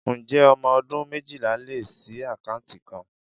Ǹjẹ́ ọmọ ọdún méjìlá lè ṣii akanti kan?